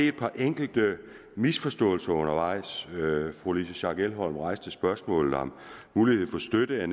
et par enkelte misforståelser undervejs fru louise schack elholm rejste spørgsmålet om mulighed for støtte